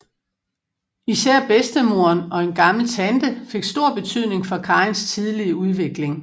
Især bedstemoderen og en gammel tante fik stor betydning for Karins tidlige udvikling